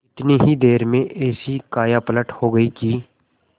इतनी ही देर में ऐसी कायापलट हो गयी कि